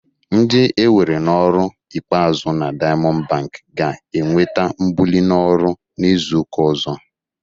Ndị e were n'ọrụ ikpeazụ na Daịamọndụ bankị ga-enweta mbuli n'ọrụ n'izu ụka ọzọ.